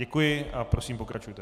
Děkuji a prosím, pokračujte.